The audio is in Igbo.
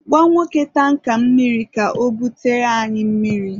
gwa nwoke tanka mmiri ka o bute anyị mmiri